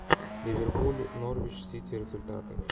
ливерпуль норвич сити результаты